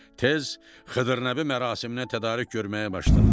Tez Xıdır Nəbi mərasiminə tədarük görməyə başladılar.